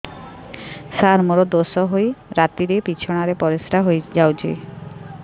ସାର ମୋର ଦୋଷ ହୋଇ ରାତିରେ ବିଛଣାରେ ପରିସ୍ରା ହୋଇ ଯାଉଛି